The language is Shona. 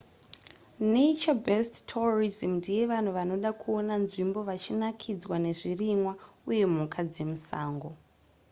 nature-based tourism ndeyevanhu vanoda kuona nzvimbo vachinakidzwa nezvirimwa uye mhuka dzemusango